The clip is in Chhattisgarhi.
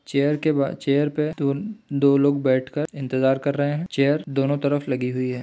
चेयर के बार चेयर पे दो लोग बैठ कर इंतजार कर रहे है चेयर दोनों तरफ लगी हुई है।